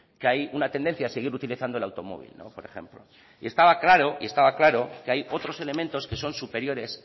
que hay una tendencia a seguir utilizando el automóvil por ejemplo y estaba claro estaba claro que hay otros elementos que son superiores